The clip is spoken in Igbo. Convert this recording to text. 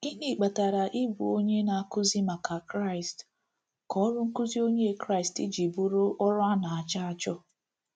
Gịnị kpatara ịbụ onye na-akụzi maka Kraịst ka ọrụ nkụzi Onye Kraịst jiri bụrụ ọrụ a na-achọ achọ?